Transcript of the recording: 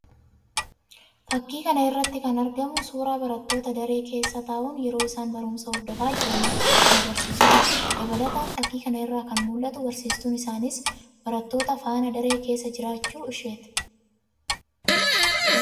Fakkii kan irratti kan argamu suuraa barttoota daree keessa taa'uun yeroo isaan barumsa hordofaa jiran kan agarsiisuudha. Dabalataan fakkii kana irraa kan mul'atu barsiistuun isaaniis barattoota faana daree keessa jiraachuu isheeti.